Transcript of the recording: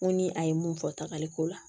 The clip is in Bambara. N ko ni a ye mun fɔ tagaliko la